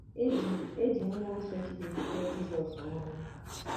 E ji E ji mmụọ nsọ Chineke tee Jizọs mmanụ.